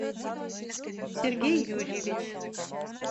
сергей юрьевич